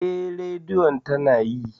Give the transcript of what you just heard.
Eh, Radiyon tana yi.